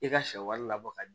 I ka sɛ wari labɔ ka